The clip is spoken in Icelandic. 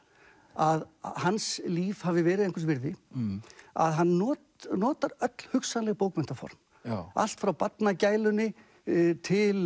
að hans líf hafi verið einhvers virði að hann notar notar öll hugsanleg bókmenntaform allt frá barnagælunni til